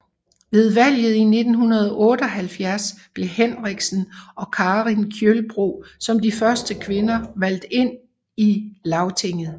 Ved valget i 1978 blev Henriksen og Karin Kjølbro som de første kvinder valgt ind i Lagtinget